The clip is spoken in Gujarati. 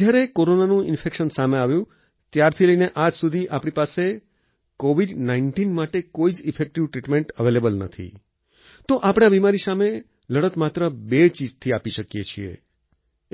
જ્યારે કોરોનાનું ઈન્ફેક્શન સામે આવ્યું ત્યારથી લઈને આજ સુધી આપણી પાસે કોવિડ19 માટે કોઈ જ ઇફેક્ટિવ ટ્રીટમેન્ટ એવેલેબલ નથી તો આપણે આ બિમારી સામે લડત માત્ર બે ચીજથી આપી શકીએ